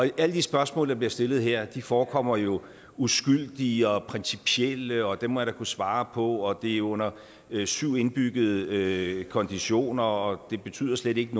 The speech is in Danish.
alle de spørgsmål der bliver stillet her forekommer jo uskyldige og principielle og dem må jeg da kunne svare på og det er under syv indbyggede konditioner og det betyder slet ikke